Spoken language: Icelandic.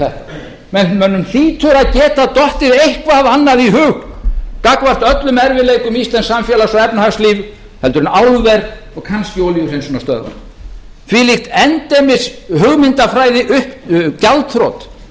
geta dottið eitthvað annað í hug gagnvart öllum erfiðleikum íslensks samfélags og efnahagslífs heldur en álver og kannski olíuhreinsunarstöðvar þvílík endemis hugmyndafræði upp gjaldþrot sem